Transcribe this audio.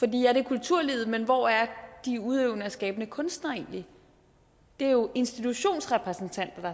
det er kulturlivet men hvor er de udøvende og skabende kunstnere egentlig det er jo institutionsrepræsentanter